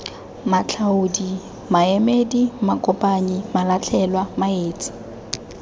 matlhaodi maemedi makopanyi malatlhelwa maetsi